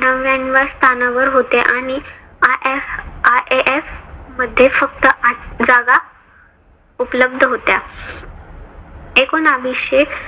नव्यान्नव्या स्थानावर होते. आणि IF IIF मध्ये फक्त आठ जागा उपलब्ध होत्या. एकोनाविशे